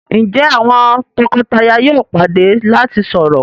Njé àwọn toko-taya yóò pàdé lati sọrọ.?